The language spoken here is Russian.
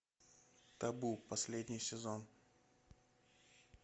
табу последний сезон